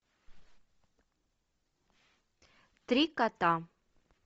три кота